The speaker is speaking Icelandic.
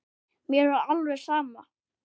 Mér var alveg sama.